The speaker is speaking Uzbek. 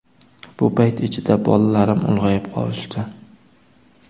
Bu payt ichida bolalarim ulg‘ayib qolishdi.